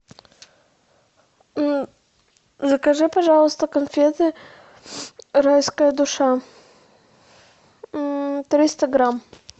закажи пожалуйста конфеты райская душа триста грамм